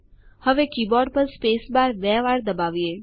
હવે કીબોર્ડ પર સ્પેસબાર બે વાર દબાવીએ